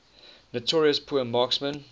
notorious poor marksmen